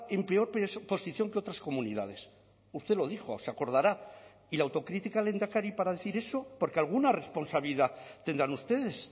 en peor posición que otras comunidades usted lo dijo se acordará y la autocrítica lehendakari para decir eso porque alguna responsabilidad tendrán ustedes